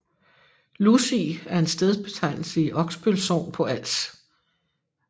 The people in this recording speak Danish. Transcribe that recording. Lusig er en stedbetegnelse i Oksbøl Sogn på Als